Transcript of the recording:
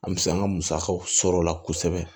An bɛ se an ka musakaw sɔrɔla kosɛbɛ